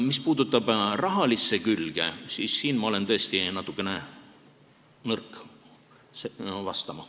Mis puudutab rahalist külge, siis siin olen ma tõesti natukene nõrk vastama.